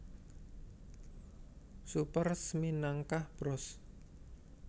Super Smminangkah Bros